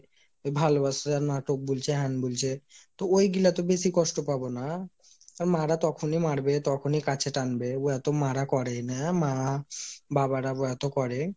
এ ভালোবাসার নাটক বুলছে হেন্ বুলছে তো ওইগুলা তো বেশি কষ্ট পাবো না? আর মা রা তখনি মারবে তখনি কাছে টানবে ও তো মারা করবে না মা বাবার তো করে,